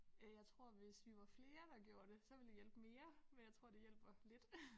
Øh jeg tror hvis vi var flere der gjorde det så ville det hjælpe mere men jeg tror det hjælper lidt